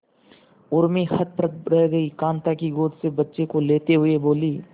उर्मी हतप्रभ रह गई कांता की गोद से बच्चे को लेते हुए बोली